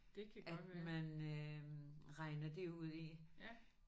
At man øh regner det ud i